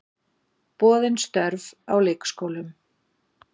Boðin störf á leikskólum